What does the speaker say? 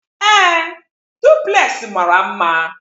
Ee, Duplex mara mma